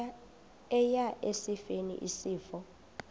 eya esifeni isifo